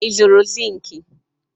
Ị zụrụ zink?